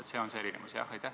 Kas see on see erinevus?